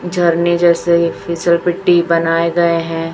झरने जैसे ही फिसल पिट्टी बनाए गए हैं।